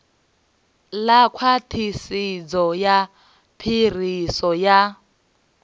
ḽa khwaṱhisedzo ya phiriso ya